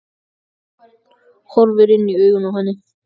Horfir inn í augun á henni.